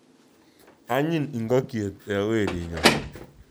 Anyiny ing'okyet we werinyon